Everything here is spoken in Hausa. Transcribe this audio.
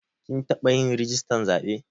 Kin taɓa yin rijistar zaɓe